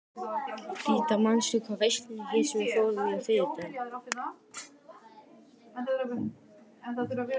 Ríta, manstu hvað verslunin hét sem við fórum í á þriðjudaginn?